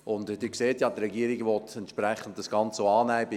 Und Sie sehen ja, die Regierung will das Ganze auch entsprechend annehmen.